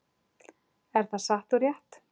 Er það satt og rétt?